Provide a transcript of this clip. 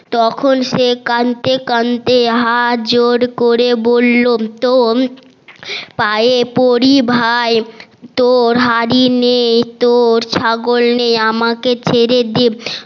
তখন সে কানতে কানতে হাত জোর করে বললো তোর পায়ে পরি ভাই তোর হাড়ি নে তোর ছাগল নে আমাকে ছেড়ে দে